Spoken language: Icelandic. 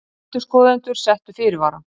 Endurskoðendur settu fyrirvara